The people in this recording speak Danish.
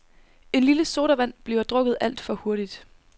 En lille sodavand bliver drukket alt for hurtigt.